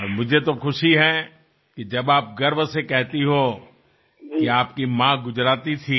અને મને તો ખુશી છે કે જ્યારે આપ ગર્વથી કહો છો કે આપની માતા ગુજરાતી હતાં